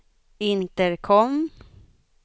intercom